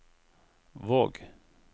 Våg